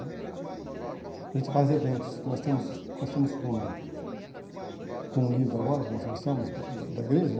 A gente faz eventos, que nós temos nós estamos com com um livro agora, que nós lançamos, da da da igreja,